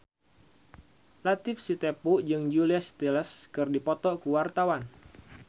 Latief Sitepu jeung Julia Stiles keur dipoto ku wartawan